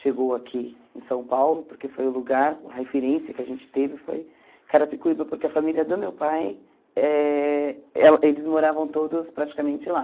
chegou aqui em São Paulo, porque foi o lugar, a referência que a gente teve foi Carapicuíba, porque a família do meu pai, eh ela eles moravam todos praticamente lá.